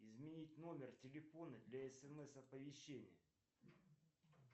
изменить номер телефона для смс оповещения